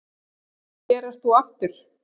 Og hér ert þú aftur.